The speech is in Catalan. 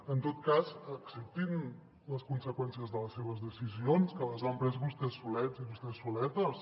en tot cas acceptin les conseqüències de les seves decisions que les han pres vostès solets i vostès soletes